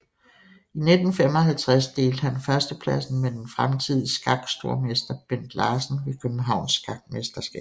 I 1955 delte han førstepladsen med den fremtidige skakstormester Bent Larsen ved Københavns Skakmesterskab